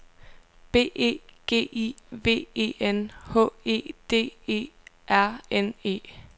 B E G I V E N H E D E R N E